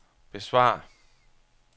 besvar